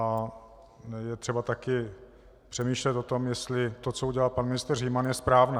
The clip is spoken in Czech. A je třeba také přemýšlet o tom, jestli to, co udělal pan ministr Říman, je správné.